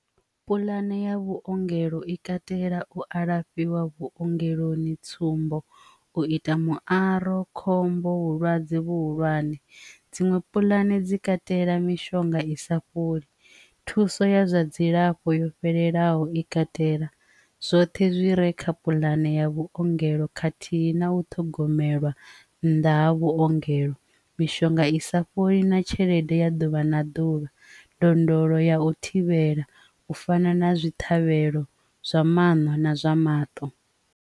Pulane ya vhuongelo i katela u alafhiwa vhuongeloni tsumbo u ita muaro khombo vhulwadze vhuhulwane dziṅwe pulane dzi katela mishonga i sa fholi thuso ya zwa dzilafho yo fhelelaho i katela zwoṱhe zwi re kha puḽane ya vhuongelo khathihi na u ṱhogomelwa nnḓa ha vhuongelo mishonga i sa fholi na tshelede ya ḓuvha na ḓuvha ndondolo ya u thivhela u fana na zwithu khavhelo zwa maṅwe na zwa maṱo.